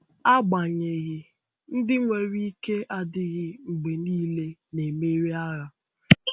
Agbanyeghị, ndị nwere ike adịghị mgbe niile na-emeri agha.